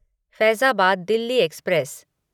Faizabad Delhi express